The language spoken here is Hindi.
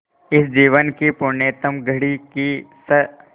इस जीवन की पुण्यतम घड़ी की स्